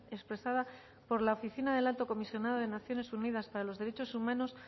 expresada por la oficina del alto comisionado de naciones unidas para los derechos humanos